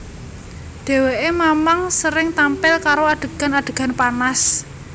Dheweké mamang sering tampil karo adegan adegan panas